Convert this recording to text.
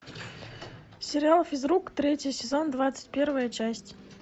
сериал физрук третий сезон двадцать первая часть